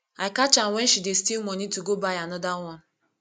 i catch am wen she dey steal money to go buy another one